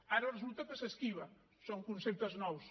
ara resulta que s’esquiva són conceptes nous